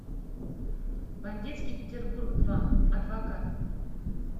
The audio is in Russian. бандитский петербург два адвокат